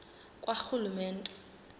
karhulumente